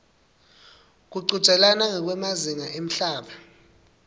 kuchudzelana ngekwemazinga emhlaba